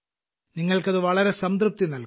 നിങ്ങൾക്ക് അത് വളരെ സംതൃപ്തി നൽകും